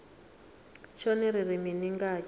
tshone ri ri mini ngatsho